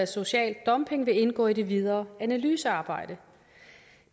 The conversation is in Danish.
social dumping vil indgå i det videre analysearbejde